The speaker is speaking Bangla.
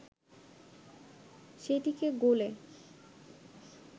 সেটিকে গোলে